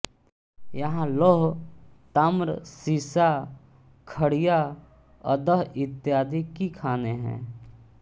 यहाँ लौह ताम्र सीसा खड़िया अदह इत्यादि की खानें हैं